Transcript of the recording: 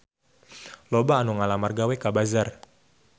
Loba anu ngalamar gawe ka Bazaar